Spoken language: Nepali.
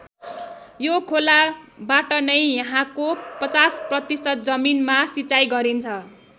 यो खोला बाटनै यहाँको ५०% जमीनमा सिँचाइ गरिन्छ।